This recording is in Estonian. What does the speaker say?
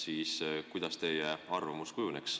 Milliseks kujuneks teie arvamus?